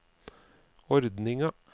ordninga